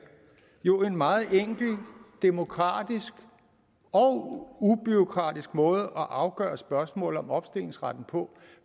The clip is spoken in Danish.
jo en meget enkel demokratisk og ubureaukratisk måde at afgøre spørgsmålet om opstillingsretten på